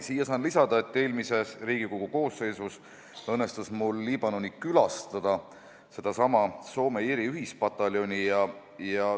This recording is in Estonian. Siia saan lisada, et eelmises Riigikogu koosseisus õnnestus mul Liibanonis külastada sedasama Soome-Iiri ühispataljoni.